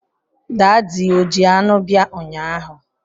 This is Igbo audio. Daadi o ji anụ bia ụnyaahụ?